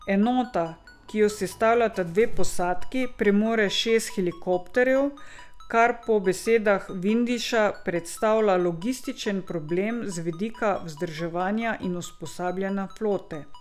Enota, ki jo sestavljata dve posadki, premore šest helikopterjev, kar po besedah Vindiša predstavlja logističen problem z vidika vzdrževanja in usposabljanja flote.